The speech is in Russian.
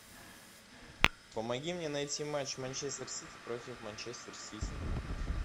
помоги мне найти матч манчестер сити против манчестер сити